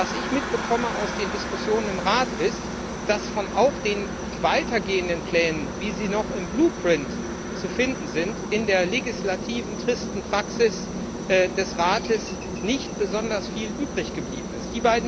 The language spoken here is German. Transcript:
Was ich aus den Diskussionen im Rat mitbekomme, ist, dass auch von den weiter gehenden Plänen, wie sie noch im blueprint zu finden sind, in der legislativen tristen Praxis des Rates nicht besonders viel übrig geblieben ist.